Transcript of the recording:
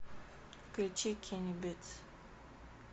включи кенни битс